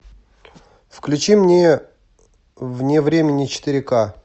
включи мне вне времени четыре ка